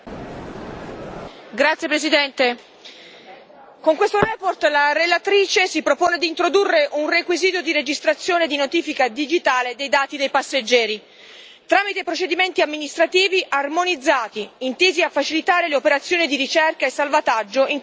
Signora Presidente, onorevoli colleghi, con questa relazione la relatrice si propone di introdurre un requisito di registrazione di notifica digitale dei dati dei passeggeri tramite procedimenti amministrativi armonizzati, intesi a facilitare le operazioni di ricerca e salvataggio in caso di emergenza.